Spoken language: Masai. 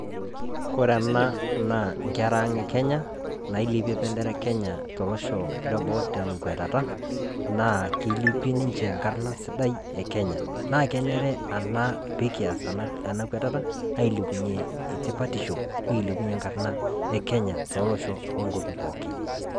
koree enaa naa nkera ang ekenya anilepie embendera ekenya tolosho leboo tenkuatata naa kilepiee ninje enkarna sidai ekenya nakenare enaa pekiata enaa kuatata pekilepunyie tipatisho nikilepunyie enkarna ekenya toloshon pookin